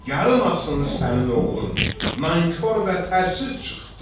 Yaramasın sənin oğlun, nankor və fərsiz çıxdı.